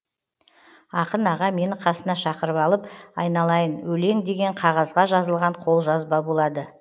ақын аға мені қасына шақырып алып айналайын өлең деген қағазға жазылған қолжазба болады